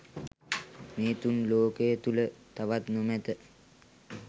මේ තුන් ලෝකය තුළ තවත් නොමැත.